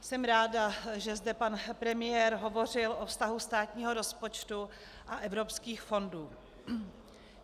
Jsem ráda, že zde pan premiér hovořil o vztahu státního rozpočtu a evropských fondů.